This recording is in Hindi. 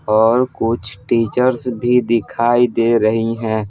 और कुछ टीचर्स भी दिखाई दे रही हैं ।